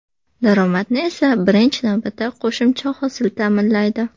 Daromadni esa birinchi navbatda qo‘shimcha hosil ta’minlaydi.